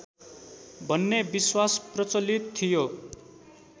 भन्ने विश्वास प्रचलित थियो